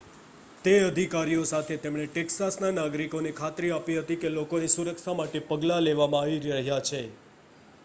તે અધિકારીઓ સાથે તેમણે ટેક્સાસના નાગરિકોને ખાતરી આપી હતી કે લોકોની સુરક્ષા માટે પગલાં લેવામાં આવી રહ્યાં છે